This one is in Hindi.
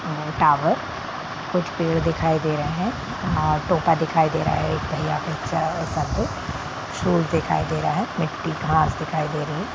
टॉवर कुछ पेड़ दिखाई दे रहे है और टोपा दिखाई दे रहा है एक भैया के सर पे शूज दिखाई दे रहा है मिट्टी घांस दिखाई दे रही है।